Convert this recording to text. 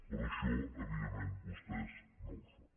però això evidentment vostès no ho fan